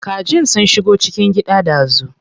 Kajin sun shigo cikin gida dazu.